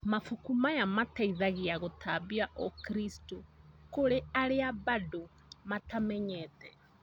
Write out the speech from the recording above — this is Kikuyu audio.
Mabuku maya mateithagia gũtambia ũkristo kũri arĩa bado matamenyete